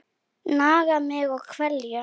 Naga mig og kvelja.